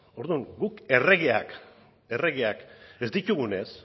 orduan guk erregeak erregeak ez ditugunez